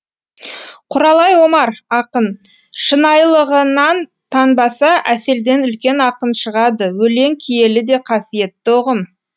құралай омар ақын шынайылығынан танбаса әселден үлкен ақын шығады өлең киелі де қасиетті ұғым